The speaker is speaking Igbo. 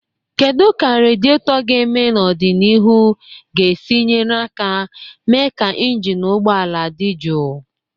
Kedu ka radietor ga-eme n'ọdịnihu ga-esi nyere aka mee ka injin ụgbọ ala dị jụụ?